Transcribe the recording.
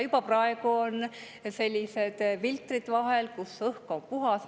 Juba praegu on sellised filtrid vahel, et õhk on puhas.